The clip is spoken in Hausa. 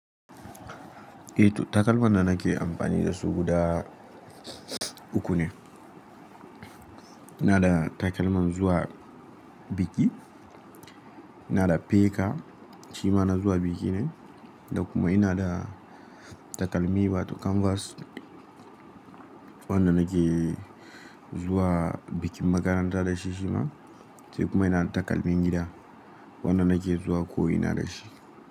Eh to takalman da nake amfani da su guda uku ne. Ina da takalman zuwa biki, ina da peka, shi ma na zuwa biki ne. Da kuma ina da takalmi wato kanvas, wanda nake zuwa bikin makaranta da shi shima. Sai kuma ina da takalmin gida wanda nake zuwa ko ina da shi.